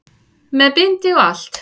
Með bindi og allt!